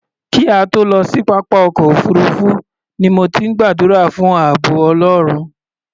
Kí a tó lọ sí pápá ọkọ̀ òfuurufú ni mo ti ń gbàdúrà fún ààbọ̀ Ọlọ́run.